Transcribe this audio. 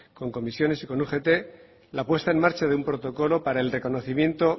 con ccoo y con ugt la puesta en marcha de un protocolo para el reconocimiento